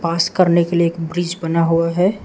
पास करने के लिए एक ब्रिज बना हुआ है।